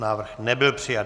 Návrh nebyl přijat.